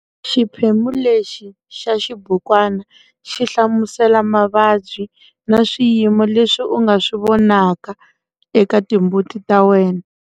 Xiphemu lexi xa xibukwana xi hlamusela mavabyi na swiyimo leswi u nga swi vonaka eka timbuti ta wena.